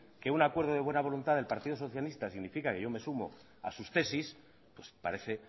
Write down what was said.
que un acuerdo de buena voluntad del partido socialista significa que yo me sumo a sus tesis parece